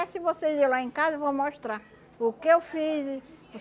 se vocês ir lá em casa, eu vou mostrar o que eu fiz.